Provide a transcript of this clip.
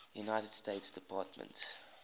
united states department